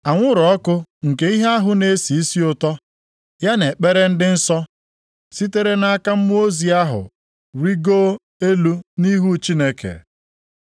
Anwụrụ ọkụ nke ihe ahụ na-esi isi ụtọ, ya na ekpere ndị nsọ sitere nʼaka mmụọ ozi ahụ rigoo elu nʼihu Chineke.